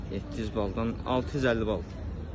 700 baldan 650 bal.